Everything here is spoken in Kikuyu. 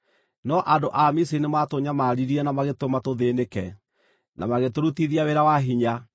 No andũ a Misiri nĩmatũnyamaririe na magĩtũma tũthĩĩnĩke, na magĩtũrutithia wĩra wa hinya.